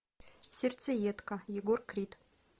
сердцеедка егор крид